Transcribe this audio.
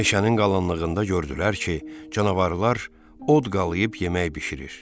Meşənin qalınlığında gördülər ki, canavarlar od qalıayıb yemək bişirir.